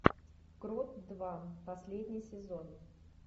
крот два последний сезон